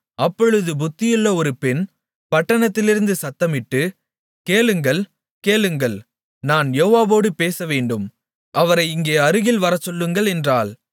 அப்பொழுது புத்தியுள்ள ஒரு பெண் பட்டணத்திலிருந்து சத்தமிட்டு கேளுங்கள் கேளுங்கள் நான் யோவாபோடு பேசவேண்டும் அவரை இங்கே அருகில் வரச்சொல்லுங்கள் என்றாள்